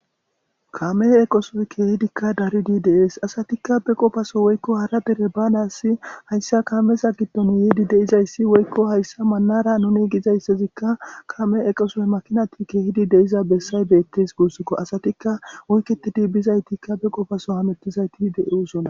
kame eqoso keehidikka daridi dees asatikka beqofaso woykko hara dere baanas hayssa kameza giddon yeedi deizayssi woykko hayssa maanara nuni gizayssezikka kame eqosof makinati keehidi deiza bessay beettes guussokko asatikka wuyketidi bizaytikka be qofaso hamettizayti de7i usona